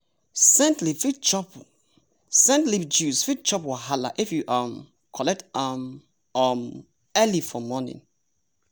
scent leaf juice fit chop wahala if you um collect am um early for morning.